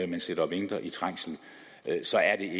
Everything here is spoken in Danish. man sidder og venter i trængsel så er